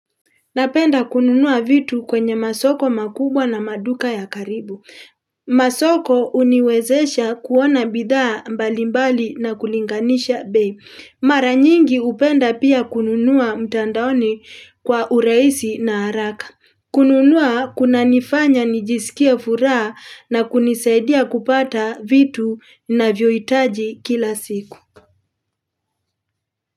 Napenda kununua vitu kwenye masoko makubwa na maduka ya karibu. Masoko uniwezesha kuona bidhaa mbalimbali na kulinganisha bei. Mara nyingi upenda pia kununua mtandaoni kwa ureisi na haraka. Kununua kunanifanya nijisikie furaha na kunisaidia kupata vitu ninavyohitaji kila siku.